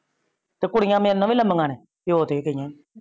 ਤੇ ਕੁੜੀਆਂ ਮੇਰੇ ਨਾਲੋ ਵੀ ਲੰਬੀਆ ਨੇ ਪਿਓ ਤੇ ਗਇਆ ਨੇ।